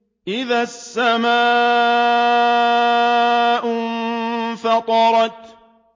إِذَا السَّمَاءُ انفَطَرَتْ